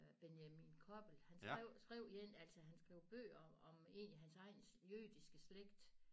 Benjamin Koppel han skrev skrev én altså han skrev bøger om egentlig hans egen jødiske slægt